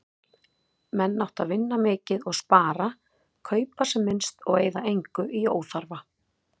Menn áttu að vinna mikið og spara, kaupa sem minnst og eyða engu í óþarfa.